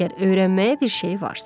Əgər öyrənməyə bir şey varsa.